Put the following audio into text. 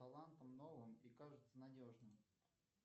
талантом новым и кажется надежным